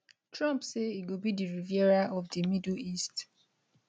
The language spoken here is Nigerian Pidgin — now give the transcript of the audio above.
trump say e go be di riviera of di middle east